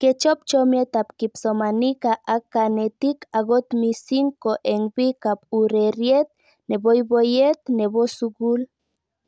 Kechop chomiet ab kipsomanika ak kanetik akot mising' ko eng' pik ab ureriet poipoyet nepo sukul